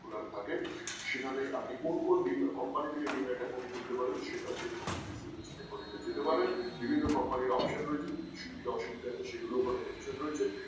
খোলা থাকে সেখানে আপনি কোন কোন demat company থেকে Deamt account খুলতে পারেন সেটার জন্য আপনি কিন্তু Digit Bengali তে যেতে পারেন বিভিন্ন কোম্পানির option রয়েছে সুবিধা অসুবিধা আছে সেগুলো ওখানে Mention রয়েছে